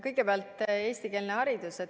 Kõigepealt eestikeelne haridus.